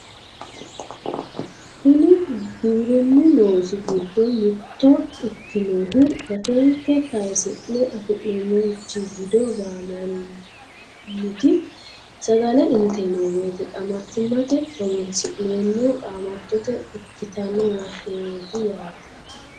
kuni giwirinnu loosi giddo mitto ikkinohu gatenkke kasi'ne afi'neemorichi wido gaammanniti sagale inteemmo woyiite qaamattimmate horonsi'neemmo qaamattote ikkitanno waheeti yaate.